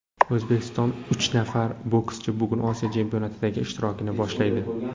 O‘zbekistonlik uch nafar bokschi bugun Osiyo chempionatidagi ishtirokini boshlaydi.